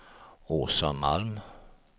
Åsa Malm